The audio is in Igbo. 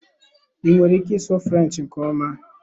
I nwere ike ịsụ French nke ọma?